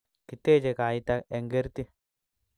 kiteche kaita eng' kerti